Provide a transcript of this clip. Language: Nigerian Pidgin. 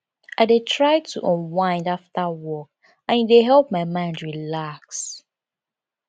i dey try to unwind after work and e dey help my mind relax